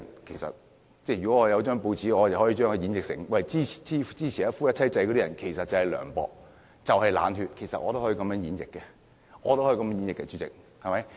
其實如果我辦報，我可以把支持一夫一妻制的人形容成涼薄、冷血，其實我也可以這樣演繹的，主席，對嗎？